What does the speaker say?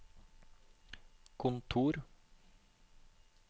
kontor